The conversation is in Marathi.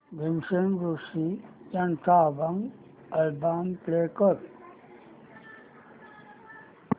भीमसेन जोशी यांचा अभंग अल्बम प्ले कर